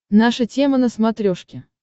наша тема на смотрешке